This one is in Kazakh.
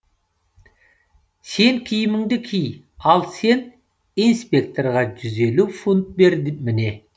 сен киіміңді ки ал сен инспекторға жүз елу фунт бер міне